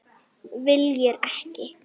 Viljir ekki.